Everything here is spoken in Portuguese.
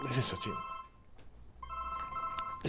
um instantinho.